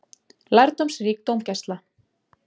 LÆRDÓMSRÍK DÓMGÆSLA